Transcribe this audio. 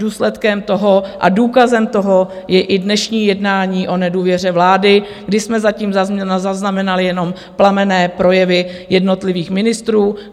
Důsledkem toho a důkazem toho je i dnešní jednání o nedůvěře vlády, kdy jsme zatím zaznamenali jenom plamenné projevy jednotlivých ministrů.